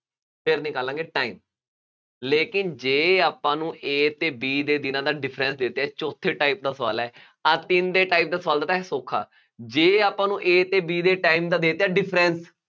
ਫੇਰ ਨਿਕਾਲਾਂਗੇ time, ਲੇਕਿਨ ਜੇ ਆਪਾਂ ਨੂੰ A ਅਤੇ B ਦੇ ਦਿਨਾਂ ਦਾ difference ਦਿੰਦੇ ਆ, ਚੌਥੇ type ਦਾ ਸਵਾਲ ਹੈ, ਆਹ ਤਿੰਨ ਦੇ type ਦਾ ਸਵਾਲ ਤਾਂ ਹੈਗਾ ਸੌਖਾ, ਜੇ ਆਪਾਂ ਨੂੰ A ਅਤੇ B ਦੇ time ਦਾ ਦੇ ਦਿੱਤਾ difference